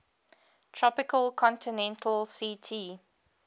tropical continental ct